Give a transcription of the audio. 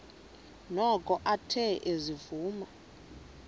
noko athe ezivuma